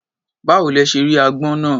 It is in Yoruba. Báwo lẹ ṣe rí agbọ́n náà?